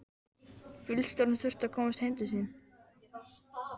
Bílstjórinn þurfti að komast heim til sín.